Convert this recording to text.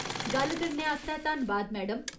गल्ल करने आस्तै धन्नबाद, मैडम।